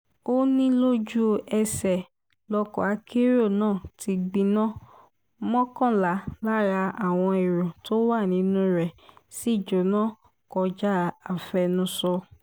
ó ní lójú-ẹsẹ̀ lọkọ̀ akérò náà ti gbiná mọ́kànlá lára àwọn ẹ̀rọ tó wà nínú rẹ̀ sì jóná kọjá àfẹnusọ